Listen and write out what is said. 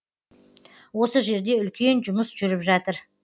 осы жерде үлкен жұмыс жүріп жатыр